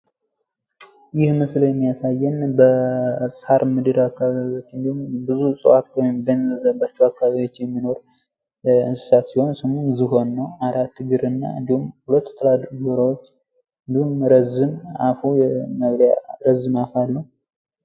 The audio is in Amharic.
ይህ ምስል የሚያሳየን በሳር ምድር ወይም እጽዋቶች በሚበዙበት አከባቢ የሚኖር ዝሆን ነው ፤ አራት እግር እና ሁለት ትላልቅ ጆሮዎች እንዲሁም ረዝም አፍ አለው።